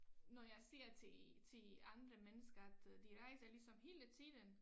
Når jeg siger til til andre mennesker at øh de rejser ligesom hele tiden